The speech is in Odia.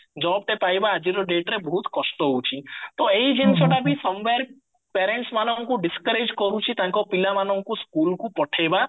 jobଟେ ପାଇବା ଆଜିର dateରେ ବହୁତ କଷ୍ଟ ହଉଚି ତ ଏଇ ଜିନିଷଟା ବି somewhere parents ମାନଙ୍କୁ discourage କରୁଚି ତାଙ୍କ ପିଲାମାନଙ୍କୁ schoolକୁ ପଠେଇବା